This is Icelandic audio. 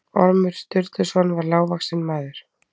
Ormur Sturluson var lágvaxinn maður.